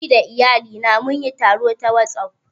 Ni da iyalina mun yi taro ta WhatsApp